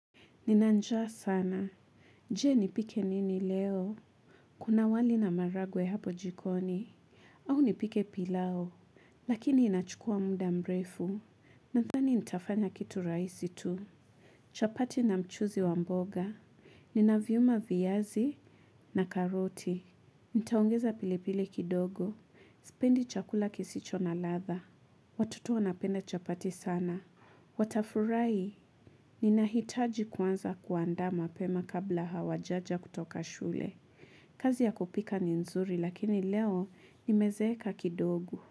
Ninanjaa sana. Je, nipike nini leo? Kuna wali na maragwe hapo jikoni. Au nipike pilau. Lakini inachukua muda mrefu. Nathani nitafanya kitu raisi tu. Chapati na mchuzi wamboga. Nina viyuma viyazi na karoti. Nitaongeza pili pili kidogo. Spendi chakula kisicho na latha. Watoto wanapenda chapati sana. Watafurai. Ni nahitaji kwanza kuanda mapema kabla hawajaja kutoka shule. Kazi ya kupika ni nzuri lakini leo ni mezeka kidogo.